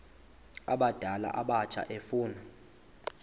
abadala abatsha efuna